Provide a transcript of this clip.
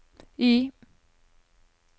Y